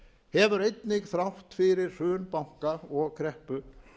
hefur einnig þrátt fyrir hrun banka og kreppu